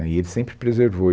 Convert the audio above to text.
E ele sempre preservou.